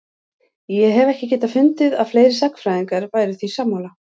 Ég hef ekki getað fundið að fleiri sagnfræðingar væru því sammála?